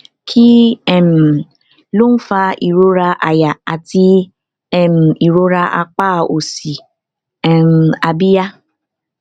kí um ló ń fa ìrora àyà àti um ìrora apá òsì um abíyá